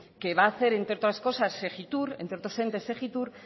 que va a hacer entre otras cosas segittur entre otros entes segittur